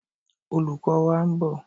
Olùkó wa ń bọ̀.